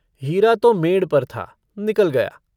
हीरा तो मेंड़ पर था, निकल गया।